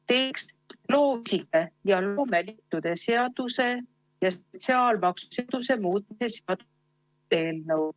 Teiseks, loovisikute ja loomeliitude seaduse ja sotsiaalmaksuseaduse muutmise eelnõu.